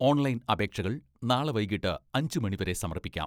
Online അപേക്ഷകൾ നാളെ വൈകിട്ട് അഞ്ചു മണി വരെ സമർപ്പിക്കാം.